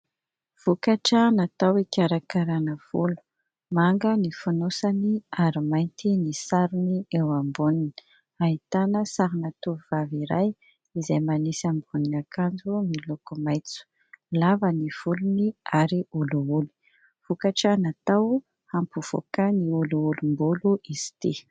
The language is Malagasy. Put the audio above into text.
Vokatra natao hikarakaràna volo. Manga ny fonosany ary mainty ny sarony eo amboniny. Ahitana sarina tovovavy iray izay manisy ambonin'akanjo miloko maitso. Lava ny volony ary olioly, vokatra natao hampivoaka ny oliolim-bolo izy ity.